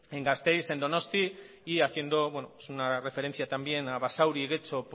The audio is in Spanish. en gasteiz en donostia y haciendo una referencia también a basauri getxo